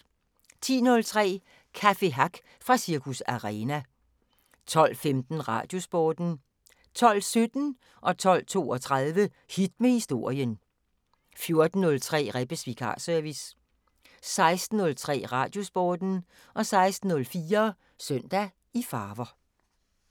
10:03: Café Hack fra Cirkus Arena 12:15: Radiosporten 12:17: Hit med Historien 12:32: Hit med Historien 14:03: Rebbes Vikarservice 16:03: Radiosporten 16:04: Søndag i farver